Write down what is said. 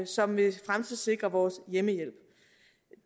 som vil fremtidssikre vores hjemmehjælp